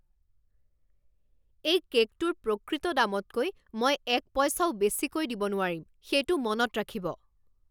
এই কে'কটোৰ প্ৰকৃত দামতকৈ মই এক পইচাও বেছিকৈ দিব নোৱাৰিম! সেইটো মনত ৰাখিব!